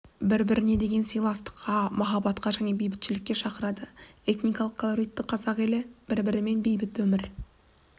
бірі біріне деген сыйластыққа махаббатқа және бейбітшілікке шақырады этникалық калоритті қазақ елі бір-бірімен бейбіт өмір